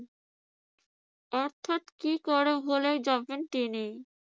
অর্থাৎ কি যাবেন তিনি।